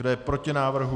Kdo je proti návrhu?